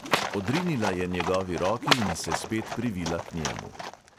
Odrinila je njegovi roki in se spet privila k njemu.